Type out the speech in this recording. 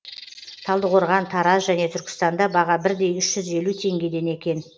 талдықорған тараз және түркістанда баға бірдей үш жүз елу теңгеден екен